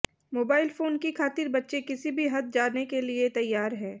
mobile phone की खातिर बच्चे किसी भी हद जा जाने के लिए तैयार है